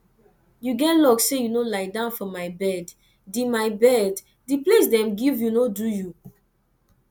you get luck say you no lie down for my bed the my bed the place dem give you no do for you